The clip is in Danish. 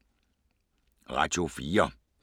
Radio 4